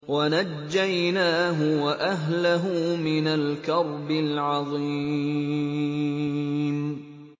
وَنَجَّيْنَاهُ وَأَهْلَهُ مِنَ الْكَرْبِ الْعَظِيمِ